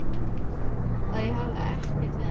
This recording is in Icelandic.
Að ég hefði ekkert við hann að gera.